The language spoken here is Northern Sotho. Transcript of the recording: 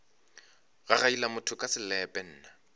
gagaila motho ka selepe nna